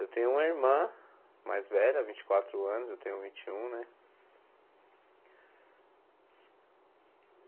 Eu tenho uma irmã mais velha, vinte e quatro anos, eu tenho vinte e um, né?